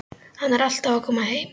Hann er alltaf að koma heim.